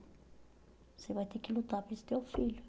Você vai ter que lutar por esse teu filho.